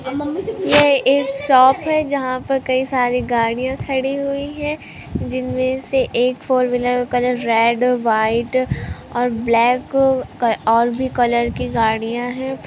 यह एक शॉप है जहां पर कई सारी गाड़ियां खड़ी हुई है जिनमें से एक फोर व्हीलर का रंग रेड और व्हाइट और ब्लैक और भी कलर की गाड़ियां हैं|